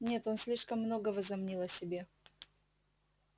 нет он слишком много возомнил о себе